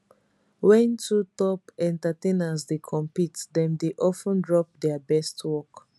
wen two top entertainers dey compete dem dey of ten drop dia best work